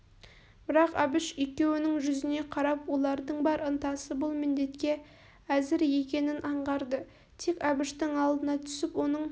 бірақ әбіш екеуінің жүзіне қарап олардың бар ынтасы бұл міндетке әзір екенін аңғарды тек әбіштің алдына түсіп оның